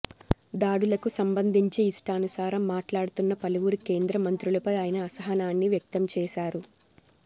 దాడులకు సంబంధించి ఇష్టానుసారం మాట్లాడుతున్న పలువురు కేంద్ర మంత్రులపై ఆయన అసహనాన్ని వ్యక్తం చేశారు